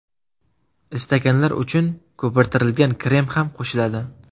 Istaganlar uchun ko‘pirtirilgan krem ham qo‘shiladi.